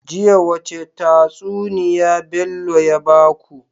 Jiya wace tatsuniya Bello ya baku?